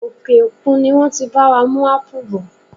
Òkè òkun ni wọ́n ti bá wa mú ápù bọ̀.